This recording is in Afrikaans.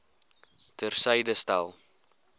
ter syde stel